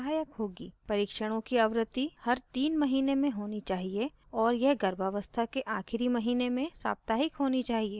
परीक्षणों की आवृत्ति हर 3 महीने में होनी चाहिए और यह गर्भावस्था के आखिरी महीने में साप्ताहिक होनी चाहिए